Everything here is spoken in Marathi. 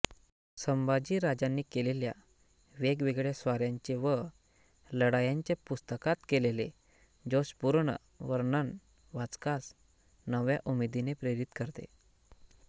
संभाजीराजांनी केलेल्या वेगवेगळ्या स्वाऱ्यांचे व लढायांचे पुस्तकात केलेले जोशपूर्ण वर्णन वाचकास नव्या उमेदीने प्रेरित करते